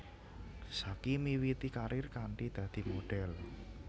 Zacky miwiti karir kanthi dadi modhel